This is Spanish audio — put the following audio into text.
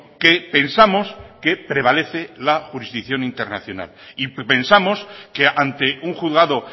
que pensamos que prevalece la jurisdicción internacional y pensamos que ante un juzgado